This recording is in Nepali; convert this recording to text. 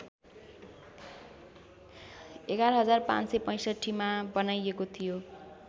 ११५६५ मा बनाइएको थियो